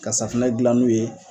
Ka safunɛ dilan n'o ye